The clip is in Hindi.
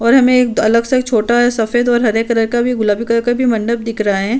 और हमें एक अलग सा छोटा सफेद और हरे कलर का गुलाबी कलर का भी मंडप दिख रहा है।